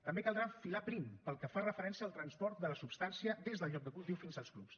també caldrà filar prim pel que fa referència al transport de la substància des del lloc de cultiu fins als clubs